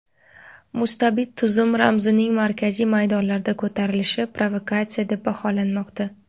Mustabid tuzum ramzining markaziy maydonlarda ko‘tarilishi provokatsiya deb baholanmoqda.